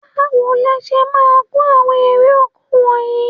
Báwo le ṣe máa ko àwọn èrè-oko wọnyìí?